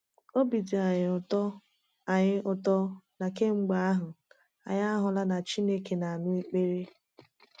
Obi dị anyị ụtọ anyị ụtọ na kemgbe ahụ anyị ahụla na Chineke na-anụ ekpere.